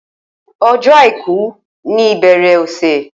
O̩jó̩ Àìkú ni ìbè̩rè̩ ò̩sè